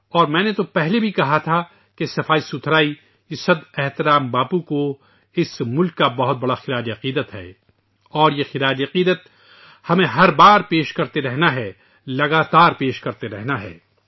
اور میں نے پہلے بھی کہا تھا کہ صفائی مہم قابل پرستش باپو کو اس ملک کا ایک بڑا خراج تحسین ہے اور یہ خراج تحسین ہمیں ہر بار پیش کرتے رہنا ہے ، اسے مسلسل کرتے رہنا ہے